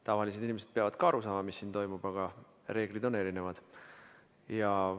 Tavalised inimesed peavad samuti aru saama, mis siin toimub, aga reeglid on erinevad.